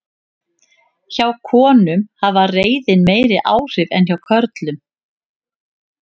hjá konum hafði reiðin meiri áhrif en hjá körlum